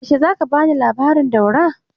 Yaushe za ka ba ni labarin Daura?